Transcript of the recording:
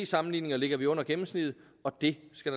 sammenligninger ligger vi under gennemsnittet og det skal